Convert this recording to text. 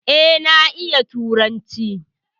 E, na iya turanci.